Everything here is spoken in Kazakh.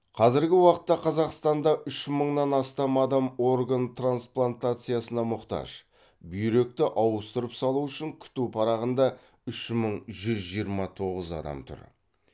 қазіргі уақытта қазақстанда үш мыңнан астам адам орган трансплантациясына мұқтаж бүйректі ауыстырып салу үшін күту парағында үш мың жүз жиырма тоғыз адам тұр